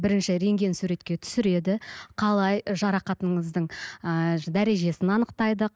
бірінші рентген суретке түсіреді қалай жарақатыңыздың ыыы дәрежесін анықтайды